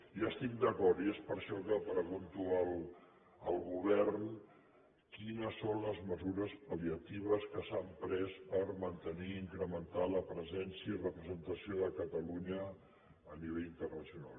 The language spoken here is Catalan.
i hi estic d’acord i és per això que pregunto al govern quines són les mesures pal·liatives que s’han pres per mantenir i incrementar la presència i representació de catalunya a nivell internacional